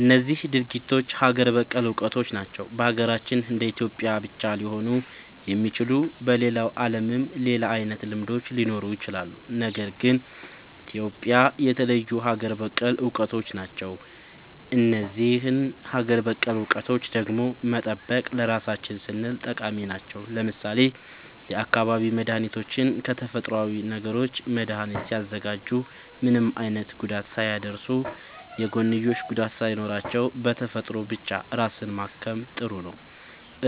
እነዚህ ድርጊቶች ሀገር በቀል እውቀቶች ናቸው። በሀገራችን እንደ ኢትዮጵያ ብቻ ሊገኙ የሚችሉ። በሌላው ዓለምም ሌላ አይነት ልምዶች ሊኖሩ ይችላሉ። ግን እንደ ኢትዮጵያ የተለዩ ሀገር በቀል እውቀቶች ናቸው። እነዚህን ሀገር በቀል እውቀቶች ደግሞ መጠበቅ ለራሳችን ስንል ጠቃሚ ናቸው። ለምሳሌ የአካባቢ መድኃኒቶችን ከተፈጥሮዊ ነገሮች መድኃኒት ሲያዘጋጁ ምንም አይነት ጉዳት ሳያደርሱ፣ የጎንዮሽ ጉዳት ሳይኖራቸው፣ በተፈጥሮ ብቻ ራስን ማከም ጥሩ ነዉ።